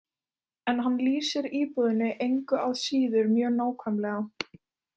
En hann lýsir íbúðinni engu að síður mjög nákvæmlega.